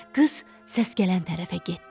Qız səs gələn tərəfə getdi.